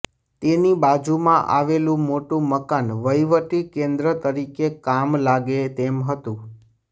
તેની બાજુમાં આવેલું મોટું મકાન વહીવટી કેન્દ્ર તરીકે કામ લાગે તેમ હતું